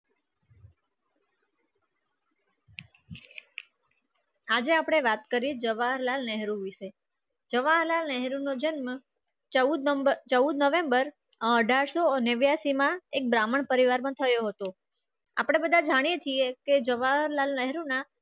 આજે આપણે વાત કરી જવાહરલાલ નહેરુ વિશે જવાહરલાલ નહેરુ નો જન્મ ચૌદ નંબર ચૌદ નવેમ્બર અઠાર સો નેવાસી માં એક બ્રાહ્મણ પરિવારમાં થયો હતો આપણે બધા જાણીએ છીએ કે જવાહરલાલ નહેરુના